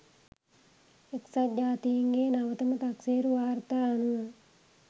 එක්සත් ජාතීන්ගේ නවතම තක්සේරු වාර්තා අනුව